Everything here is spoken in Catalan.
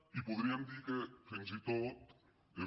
i podríem dir que fins i tot és